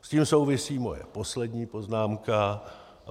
S tím souvisí moje poslední poznámka.